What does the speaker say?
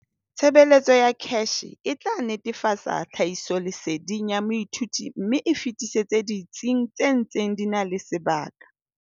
Tshebeletso ya CACH e tla netefatsa tlhahisoleseding ya moithuti mme e e fetisetse ditsing tse ntseng di na le sebaka.